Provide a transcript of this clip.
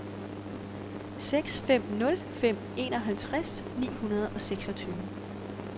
seks fem nul fem enoghalvtreds ni hundrede og seksogtyve